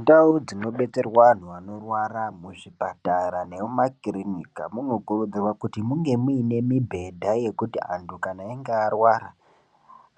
Ndau dzinobetserwa anhu anorwara muzvipatara nemumakirinika munokurudzirwa kuti munge muine mibhedha yekuti antu kana einge arwara